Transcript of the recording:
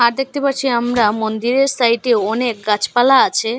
দেখতে পারছি আমরা মন্দিরের সাইডেও অনেক গাচপালা আছে।